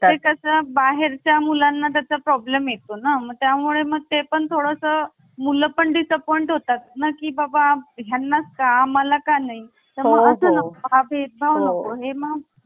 असं बाहेरच्या मुलांना त्याचा problem येतो ना मग त्यामुळे मग ते पण थोड सं मुलं disappoint होतात ना की बाबा यांनाच का आम्हाला का नाही तर मग असं भेदभाव नको